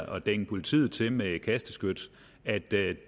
at dænge politiet til med kasteskyts at det